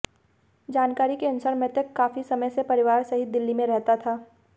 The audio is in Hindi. जानकारी के अनुसार मृतक काफी समय से परिवार सहित दिल्ली में रहता था